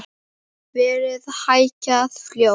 Verðið hækkaði fljótt.